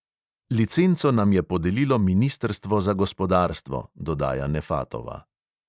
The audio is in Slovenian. Licenco nam je podelilo ministrstvo za gospodarstvo," dodaja nefatova.